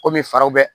Kɔmi fariw bɛ